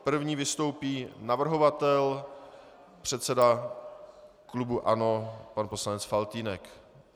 První vystoupí navrhovatel, předseda klubu ANO pan poslanec Faltýnek.